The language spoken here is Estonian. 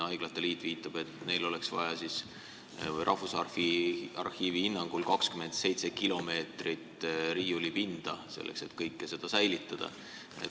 Haiglate liit viitab, et neil oleks Rahvusarhiivi hinnangul vaja 27 kilomeetrit riiulipinda, selleks et kõike seda säilitada.